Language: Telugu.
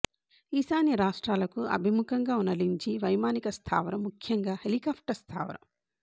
ఈశాన్య రాష్ట్రాలకు అభిముఖంగా ఉన్న లింఝి వైమానిక స్థావరం ముఖ్యంగా హెలికాప్టర్ స్థావరం